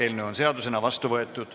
Eelnõu on seadusena vastu võetud.